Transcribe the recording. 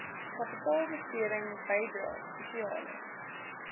kapitaalbesteding bydrae spesiale